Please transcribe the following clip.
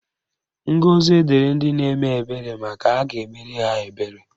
Ngọzi dịrị ndị na-eme ebere maka a ga-emere ha ebere.